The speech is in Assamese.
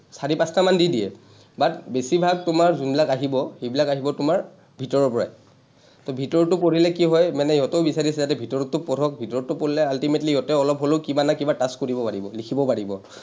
চাৰি-পাঁচটামান দি দিয়ে, but বেছিভাগ তোমাৰ যোনবিলাক আহিব, সেইবিলাক আহিব তোমাৰ ভিতৰৰ পৰাই। to ভিতৰৰ টো পঢ়িলে কি হয় মানে ইহঁতেও বিচাৰিছে যাতে ভিতৰৰটো পঢ়ক, ভিতৰৰটো পঢ়িলে ultimately সিহঁতে অলপ হ’লেও কিবা নহয় কিবা touch কৰিব পাৰিব, লিখিব পাৰিব।